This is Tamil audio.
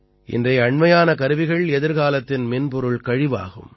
இன்றைய அண்மையான கருவிகள் எதிர்காலத்தின் மின்பொருள் கழிவாகும்